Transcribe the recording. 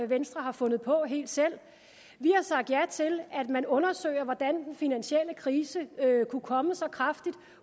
venstre har fundet på helt selv vi har sagt ja til at man undersøger hvordan den finansielle krise kunne komme så kraftigt